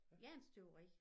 Jernstøberi